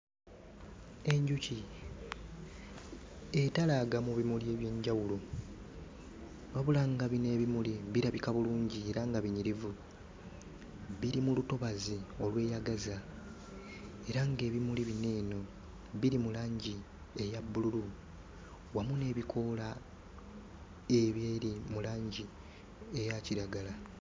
Enjuki etalaaga mu bimuli eby'enjawulo wabula nga bino ebimuli birabika bulungi era nga binyirivu biri mu lutobazi olweyagaza era ng'ebimuli bino eno biri mu langi eya bbululu wamu n'ebikoola ebiri mu langi eya kiragala.